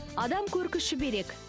адам көркі шүберек